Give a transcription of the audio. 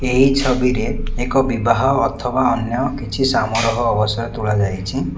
ଏହି ଛବିରେ ଏକ ବିବାହ ଅଥବା ଅନ୍ୟ କିଛି ସାମାରହ ଅବସର ତୋଳା ଯାଇଛି।